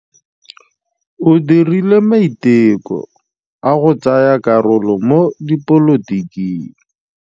O dirile maitekô a go tsaya karolo mo dipolotiking.